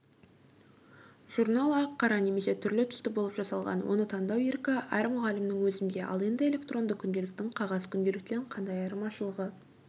журнал ақ-қара немесе түрлі түсті болып жасалған оны таңдау еркі әр мұғалімнің өзінде ал енді электронды күнделіктің қағаз күнделіктен қандай айырмашылығы